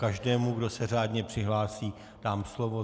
Každému, kdo se řádně přihlásí, dám slovo.